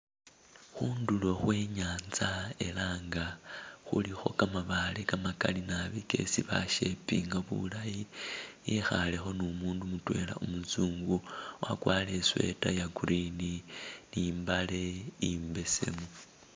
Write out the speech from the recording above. Khundulo khwenyanza elanga khulikho gamabaale gamagali naabi gesi bashapinga bulayi ekhalekho ni umundu mutwela umuzungu wagwarile isweeta ya green ni mbale imbesemu.